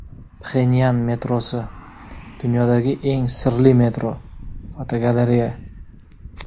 Pxenyan metrosi — dunyodagi eng sirli metro (fotogalereya).